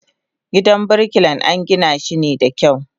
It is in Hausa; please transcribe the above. Gidan birkilan angina shi da kyau.